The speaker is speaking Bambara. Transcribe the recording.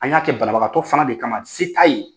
An k'a kɛ banabagatɔ fana de kama se t'a ye.